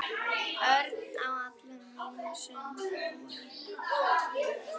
Örn á alla mína samúð.